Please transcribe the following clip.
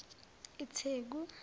itheku